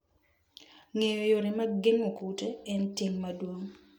Ng'eyo yore mag geng'o kute en ting' maduong'.